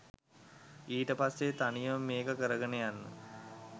ඊට පස්සේ තනියම මේක කරගෙන යන්න